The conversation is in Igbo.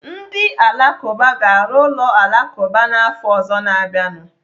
Ndị Alakụba ga-arụ ụlọ alakụba n'afọ ọzọ na-abịanụ.